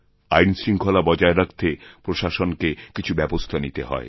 আইনশৃঙ্খলা বজায় রাখতে প্রশাসনকে কিছুব্যবস্থা নিতে হয়